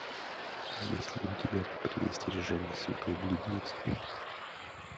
есть ли у тебя предостережение святой блудницы